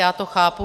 Já to chápu.